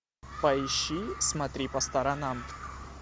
поищи смотри по сторонам